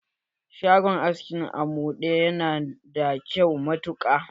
Shagon aski na Amude yana da kyau matuƙa.